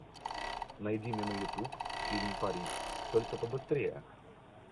найди мне на ютуб фильм пари только побыстрее